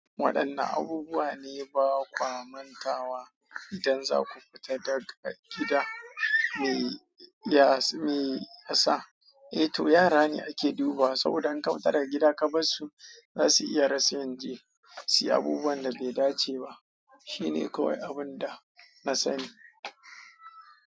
Waɗanne abubuwa ne ba kwa mantawa idan za ku fita daga gida? Me ya sa? Eh to yara ne ake dubawa saboda in ka fita daga gida ka bar su, za su iya rasa yan je si abubuwan da bai dace ba. Shi ne kawai abin da na sani.